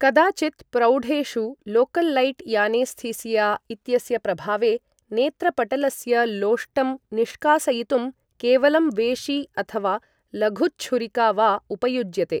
कदाचित् प्रौढेषु लोकल्लैट् यानेस्थीसिया इत्यस्य प्रभावे नेत्रपटलस्य लोष्टं निष्कासयितुं केवलं वेशी अथवा लघुच्छुरिका वा उपयुज्यते।